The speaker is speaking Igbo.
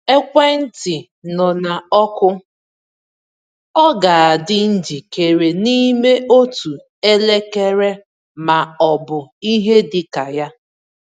Ekwentị nọ na ọkụ; ọ ga-adị njikere n’ime otu elekere ma ọ bụ ihe dị ka ya.